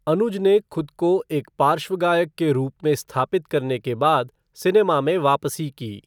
अनुज ने खुद को एक पार्श्व गायक के रूप में स्थापित करने के बाद सिनेमा में वापसी की।